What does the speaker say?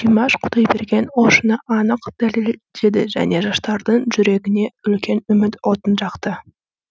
димаш құдайберген осыны анық дәлелдеді және жастардың жүрегіне үлкен үміт отын жақты